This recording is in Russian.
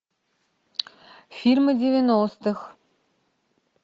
фильмы девяностых